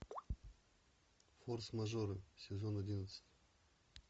форс мажоры сезон одиннадцать